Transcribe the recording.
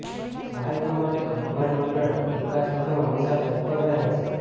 સહાયતા માટે ગઢવાલ મંડળ વિકાસ નિગમ હમેશા તત્પર રહે છે